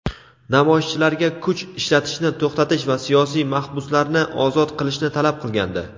namoyishchilarga kuch ishlatishni to‘xtatish va siyosiy mahbuslarni ozod qilishni talab qilgandi.